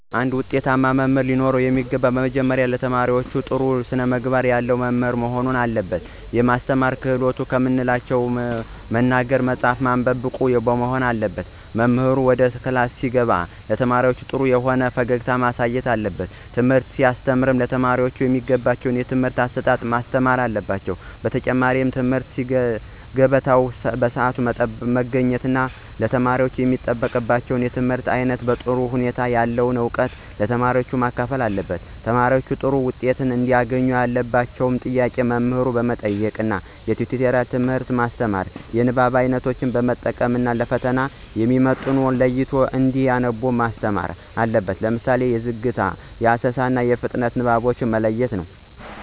አንድ ውጤታማ መምህር ለኖረው የሚገባው ነገር መጀመሪያ ለተማሪዎች ጥሩ የሆነ ስነምግባር ያለው መምህር መሆን አለበት። የማስተማር ክህሎትን ከምንላቸው መናገር፣ መፃፍ፣ ማንበብ ብቁ መሆን አለበት። መምህሩ ወደ ክላስ ሲገባ ለተማሪዎች ጥሩ የሆነ ፈገግታ መስጠት አለበት። ትምህርት ሲያስተም ለተማሪዎቹ በሚገባቸው የትምህርት አሰጣጥ ማስተማር አለበት። በተጨማሪ በትምህርት ገበታው ሰአቱን ጠብቆ በመግባት ተማሪወች የሚጠበቅባቸውን የትምህርት አይነት በጥሩ ሁኔታ ያለውን እውቀት ለተማሪዎች ማካፈል አለበት። ተማሪዎች ጥሩ ዉጤት እንዲያገኙ ያልገባቸውን ጥያቄ መምህሩ መጠየቅ ነዉ። የቲቶሪያል ትምህርት ማስተማር። የንባብ አይነቶችን መጠቀም ነው። ለፈተና የሚመጡትን ለይቶ እንዲያነቡ ማስተማር አለበት። ለምሳሌ የዝግታ፣ የአሰሳ፣ የፍጥነት ንባቦችን መለየት ነው።